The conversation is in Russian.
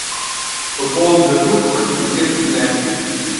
футбол ливерпуль против манчестер юнайтед